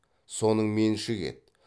соның меншігі еді